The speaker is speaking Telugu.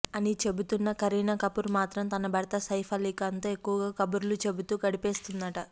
అని చెబుతున్న కరీనాకపూర్ మాత్రం తన భర్త సైఫ్ అలీఖాన్తో ఎక్కువగా కబుర్లు చెబుతూ గడిపేస్తుందట